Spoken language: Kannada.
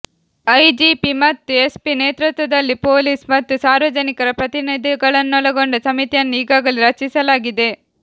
ಐಜಿಪಿ ಮತ್ತು ಎಸ್ಪಿ ನೇತೃತ್ವದಲ್ಲಿ ಪೊಲೀಸ್ ಮತ್ತು ಸಾರ್ವಜನಿಕರ ಪ್ರತಿನಿಧಿಗಳನ್ನೊಳಗೊಂಡ ಸಮಿತಿಯನ್ನು ಈಗಾಗಲೇ ರಚಿಸಲಾಗಿದೆ